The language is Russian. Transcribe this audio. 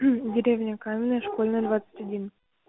деревня каменная школьная двадцать один